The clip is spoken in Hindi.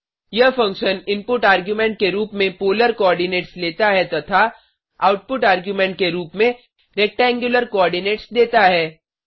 यह फंक्शन इनपुट आर्ग्युमेंट के रूप में पोलर कोऑर्डिनेट्स लेता है तथा आउटपुट आर्ग्युमेंट के रूप में रेक्टेंगुलर कोऑर्डिनेट्स देता है